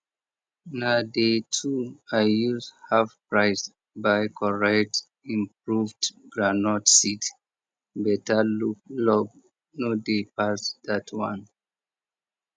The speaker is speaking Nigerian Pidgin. na day two i use half price buy correct improved groundnut seed better luck no dey pass that one